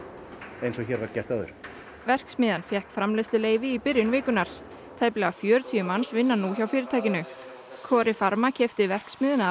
eins og hér var gert áður verksmiðjan fékk framleiðsluleyfi í byrjun vikunnar tæplega fjörutíu manns vinna nú hjá fyrirtækinu coripharma keypti verksmiðjuna af